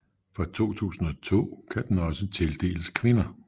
Fra 2002 kan den også tildeles kvinder